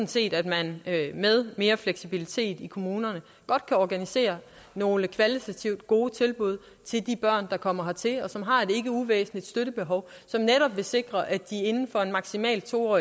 set at man med mere fleksibilitet i kommunerne godt kan organisere nogle kvalitativt gode tilbud til de børn der kommer hertil og som har et ikke uvæsentligt støttebehov som netop vil sikre at de inden for maksimalt to år